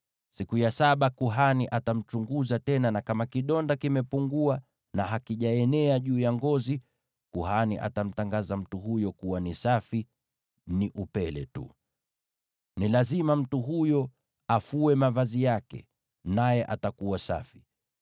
Siku ya saba kuhani atamchunguza tena, na kama kidonda kimepungua na hakijaenea juu ya ngozi, kuhani atamtangaza mtu huyo kuwa ni safi, ni upele tu. Ni lazima mtu huyo afue mavazi yake, naye atakuwa safi.